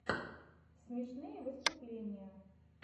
смешные выступления